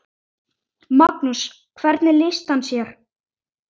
Magnús: Hvernig lýsti hann sér?